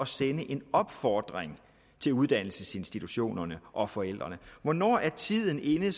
sende en opfordring til uddannelsesinstitutionerne og forældrene hvornår er tiden inde